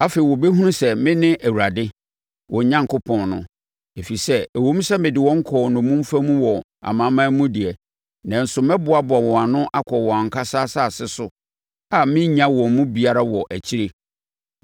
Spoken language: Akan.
Afei wɔbɛhunu sɛ mene Awurade wɔn Onyankopɔn no, ɛfiri sɛ ɛwom sɛ mede wɔn kɔɔ nnommumfa mu wɔ amanaman no mu deɛ, nanso mɛboaboa wɔn ano akɔ wɔn ankasa asase so a merennya wɔn mu biara wɔ akyire.